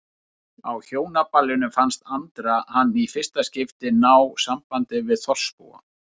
Á Hjónaballinu fannst Andra hann í fyrsta skipti ná sambandi við þorpsbúa.